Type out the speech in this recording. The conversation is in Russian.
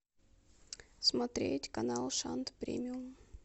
смотреть канал шант премиум